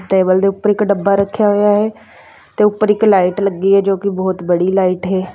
Table ਦੇ ਉਪਰ ਇੱਕ ਡੱਬਾ ਰੱਖਿਆ ਹੋਇਆ ਹੈ ਤੇ ਉੱਪਰ ਇੱਕ ਲਾਈਟ ਲੱਗੀ ਹੈ ਜੋ ਕਿ ਬੜੀ ਲਾਈਟ ਹੈ।